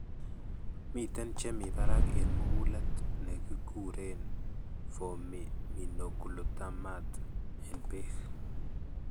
Miiten cheemi barak en mugulet ne kekuren formiminoglutamate en beek.